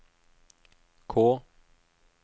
K